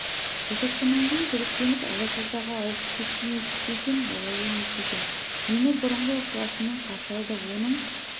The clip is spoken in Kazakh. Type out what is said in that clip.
босатқаннан күдіктеніп алашордаға ауып кетті ме десем олай емес екен мені бұрынғы ықласымен қарсы алды оның